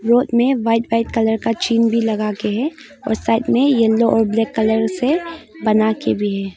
Road में white white colour का चिन्ह भी लगा के हैं और साइड में येलो और ब्लैक कलर से बना के भी है।